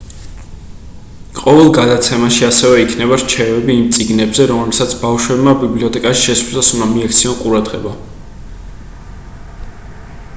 ყოველ გადაცემაში ასევე იქნება რჩევები იმ წიგნებზე რომლებსაც ბავშვებმა ბიბლიოთეკაში შესვლისას უნდა მიაქციონ ყურადღება